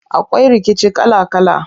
Akwai rikici kala kala.